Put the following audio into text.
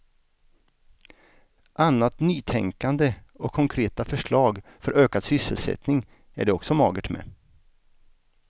Annat nytänkande och konkreta förslag för ökad sysselsättning är det också magert med.